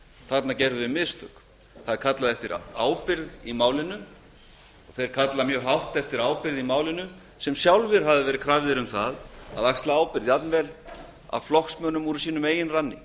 þarna gerðum við mistök kallað er eftir ábyrgð í málinu og þeir kalla mjög hátt eftir ábyrgð í málinu sem sjálfir hafa verið krafðir um að axla ábyrgð jafnvel af flokksmönnum úr sínum eigin ranni